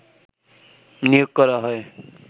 নিয়োগ করা হয়